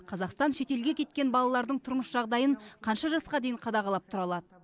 қазақстан шетелге кеткен балалардың тұрмыс жағдайын қанша жасқа дейін қадағалап тұра алады